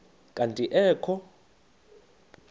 kanti ee kho